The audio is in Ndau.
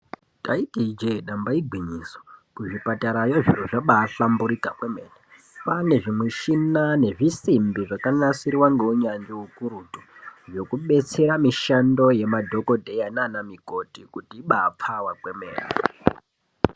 Taiti je damba igwinyiso kuzvipatarayo zviro zvabahlamburuka kwemene kwane zvimushina nezvisimbi zvakanasirwa neunyanzvi ukurutu zvekudetsera mishando Yana dhokodheya nana mukoti kuti ibapfawe kwemene.